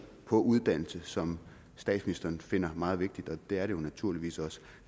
på uddannelse som statsministeren finder meget vigtigt og det er det jo naturligvis også